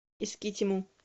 искитиму